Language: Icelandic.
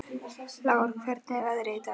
Lár, hvernig er veðrið í dag?